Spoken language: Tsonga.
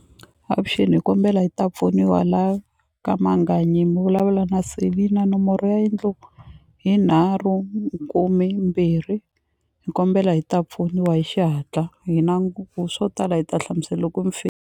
Avuxeni hi kombela hi ta pfuniwa la ka Manganyi mi vulavula na Selina nomboro ya yindlo hi nharhu kume mbirhi ni kombela hi ta pfuniwa hi xihatla hi na swo tala hi ta hlamusela loko mi .